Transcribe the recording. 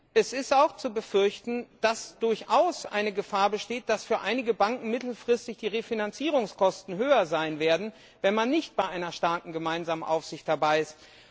Es ist auch zu befürchten, dass durchaus eine Gefahr besteht, dass für einige Banken mittelfristig die Refinanzierungskosten höher sein werden, wenn man nicht bei einer starken gemeinsamen Aufsicht dabei ist.